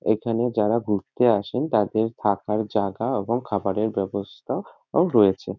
এখানে যারা ঘুরতে আসেন তাদের থাকার জাগা এবং খাবারের ব্যবস্থা ও রয়েছে।